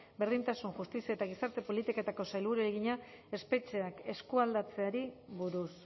berdintasun justizia eta gizarte politiketako sailburuari egina espetxeak eskualdatzeari buruz